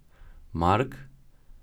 Mark?